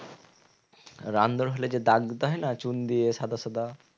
Run দৌড় খেললে যে দাগ দিতে হয় না চুন দিয়ে সাদা সাদা